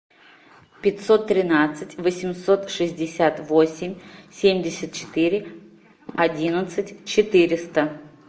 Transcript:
пятьсот тринадцать восемьсот шестьдесят восемь семьдесят четыре одиннадцать четыреста